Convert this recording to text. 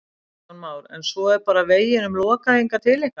Kristján Már: En svo er bara veginum lokað hingað til ykkar?